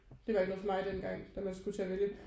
Det var ikke noget for mig dengang da man skulle til at vælge